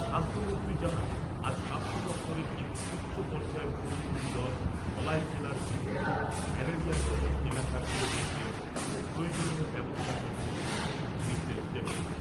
স্বাস্থ্যমন্ত্রী জানান, আজ স্বাস্থ্য দপ্তরের একটি উচ্চ পর্যায়ের প্রতিনিধিদল ধলাই জেলার বিভিন্ন ম্যালেরিয়া প্রবণ এলাকা ঘুরে দেখবেন ও প্রয়োজনীয় ব্যবস্থা গ্রহণের জন্যে নির্দেশ দেবেন।